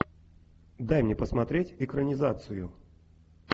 дай мне посмотреть экранизацию